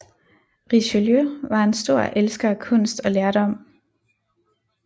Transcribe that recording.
Richelieu var en stor elsker af kunst og lærdom